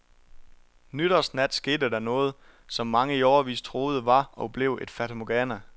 Nytårsnat skete der noget, som mange i årevis troede var og blev et fatamorgana.